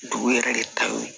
Dugu yɛrɛ de ta ye